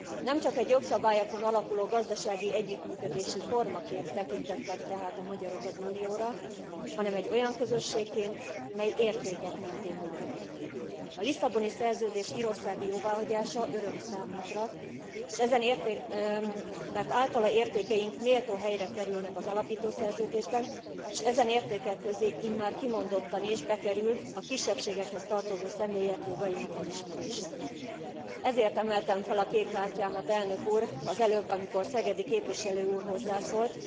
Nemcsak egy jogszabályokon alapuló gazdasági együttműködési formaként tekintettek tehát a magyarok az Unióra, hanem egy olyan közösségként, mely értékek mentén működik. A Lisszaboni Szerződés írországi jóváhagyása öröm számunkra, mert általa értékeink méltó helyre kerülnek az alapító szerződésben, és ezen értékek közé immár kimondottan is bekerül a kisebbségekhez tartozó személyek jogainak elismerése. Ezért emeltem fel a kék kártyámat, elnök úr, az előbb, amikor Szegedi képviselő úr hozzászólt.